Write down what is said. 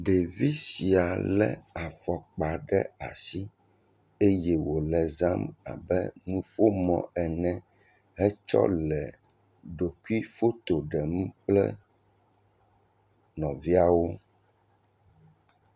Ɖevi sia le afɔkpa ɖe asi eye wole zam abe nuƒomɔ ene hetsɔ le ɖokuifoto ɖem kple nɔviawo.